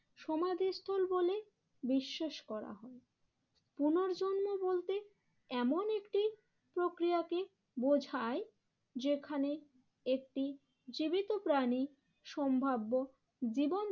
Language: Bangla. সমাধিস্থল বলে বিশ্বাস করা হয়। পুনর্জন্ম বলতে এমন একটি প্রক্রিয়াকে বোঝায় যেখানে একটি জীবিত প্রাণী সম্ভাব্য জীবন